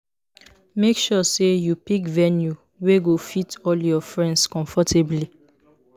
Make sure say you pick venue wey go fit all your friends comfortably